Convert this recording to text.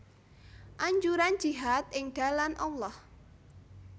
Anjuran jihad ing dalan Allah